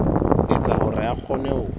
etsa hore a kgone ho